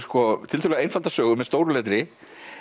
tiltölulega einfaldar sögur með stóru letri